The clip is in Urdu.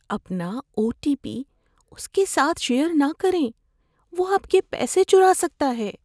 اپنا او ٹی پی اس کے ساتھ شیئر نہ کریں۔ وہ آپ کے پیسے چرا سکتا ہے۔